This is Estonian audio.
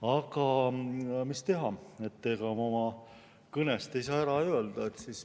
Aga mis teha, ega ma oma kõnest ei saa ära öelda.